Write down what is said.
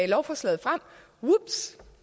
lovforslaget vups